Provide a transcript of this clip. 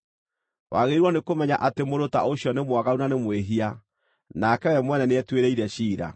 Wagĩrĩirwo nĩkũmenya atĩ mũndũ ta ũcio nĩ mwaganu na nĩ mwĩhia; nake we mwene nĩetuĩrĩire ciira.